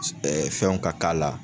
fɛnw ka k'a la